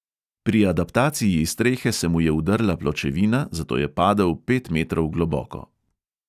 Pri adaptaciji strehe se mu je udrla pločevina, zato je padel pet metrov globoko.